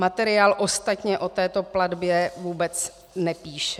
Materiál ostatně o této platbě vůbec nepíše.